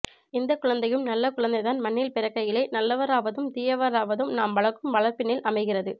எந்தக் குழந்தையும் நல்ல குழந்தைதான் மண்ணில் பிறக்கையிலே நல்லவராவதும் தீயவராவதும் நாம் வளர்க்கும் வளர்ப்பினில் அமைகிறது